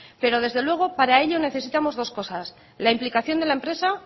pero desde luego para ello necesitamos dos cosas la implicación de la empresa